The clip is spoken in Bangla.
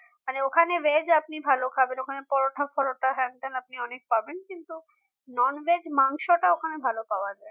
মানে ওখানে veg আপনি ভাল খাবেন ওখানে পরোটা ফরটা হ্যানত্যান আপনি অনেক পাবেন কিন্তু non veg মাংসটা ওখানে ভাল পাওয়া যায় না